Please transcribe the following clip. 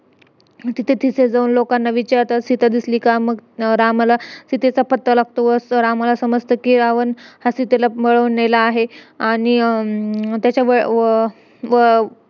आणि त्यांनी हातामध्ये घातलेलं bracelet घातलेलं जाम नकली होतं एवढं नकली होतं ना काय सांगू आणि असे पकवायचे ना एकदम असे नावाने बनवलय ते bracelet असं तसं काय पण